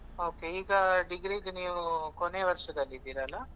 Okay ಈಗ degree ಗೆ ನೀವು ಕೊನೆಯ ವರ್ಷದಲ್ಲಿ ಇದ್ದೀರಲ್ಲಾ?